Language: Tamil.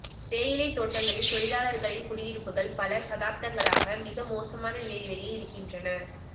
தேயிலைத் தோட்டங்களில் தோழிலாளர்களின் குடியிருப்புகள் பல தசாப்தங்களாக மிக மோசமான நிலையிலேயே இருக்கின்றன